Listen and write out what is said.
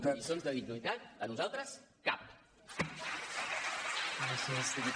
de lliçons de dignitat a nosaltres cap